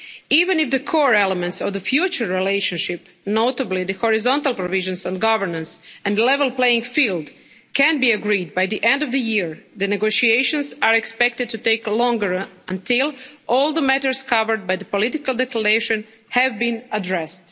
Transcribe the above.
Even if the core elements of the future relationship notably the horizontal provisions on governance and the level playing field can be agreed by the end of the year, the negotiations are expected to take longer until all the matters covered by the Political Declaration have been addressed.